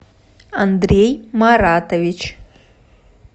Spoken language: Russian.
андрей маратович